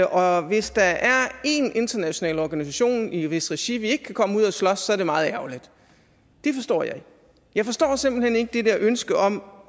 og hvis der er én international organisation i hvis regi vi ikke kan komme ud og slås så er det meget ærgerligt det forstår jeg ikke jeg forstår simpelt hen ikke det der ønske om